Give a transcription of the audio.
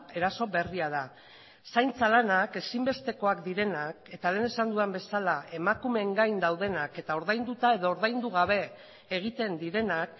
eraso berria da zaintza lanak ezinbestekoak direnak eta lehen esan dudan bezala emakumeen gain daudenak eta ordainduta edo ordaindu gabe egiten direnak